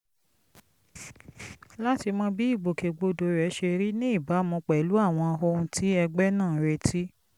láti mọ bí ìgbòkègbodò rẹ̀ ṣe rí ní ìbámu pẹ̀lú àwọn ohun tí ẹgbẹ́ náà ń retí